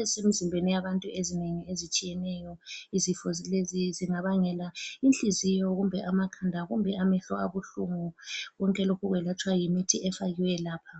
ezisemzimbeni yabantu ezinengi ezitshiyeneyo. Izifo lezi zingabangela inhliziyo kumbe amakhanda kumbe amehlo abuhlungu konke lokhu kwelatshwa yimithi efakiweyo lapha.